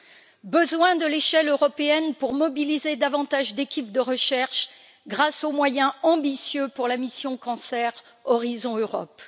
Nous avons besoin de l'échelle européenne pour mobiliser davantage d'équipes de recherche, grâce aux moyens ambitieux de la mission cancer Horizon Europe.